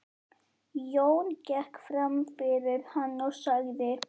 Jón gekk fram fyrir hann og sagði